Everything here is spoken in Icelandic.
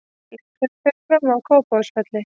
Leikurinn fer fram á Kópavogsvelli.